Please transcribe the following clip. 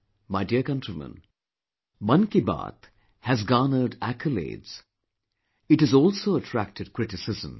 My dear countrymen, 'Mann Ki Baat' has garnered accolades; it has also attracted criticism